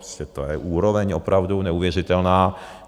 Prostě to je úroveň opravdu neuvěřitelná!